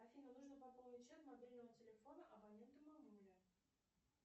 афина нужно пополнить счет мобильного телефона абонента мамуля